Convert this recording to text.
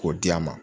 K'o d'a ma